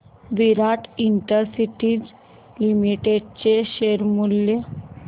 विराट industries limited चे share मूल्य